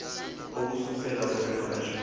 ukususela kwelo xesha